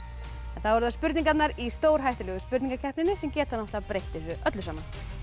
þá eru það spurningarnar í stórhættulegu spurningakeppninni sem geta breytt þessu öllu saman